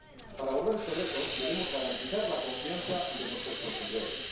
Para abordar este reto, debemos garantizar la confianza de nuestros consumidores.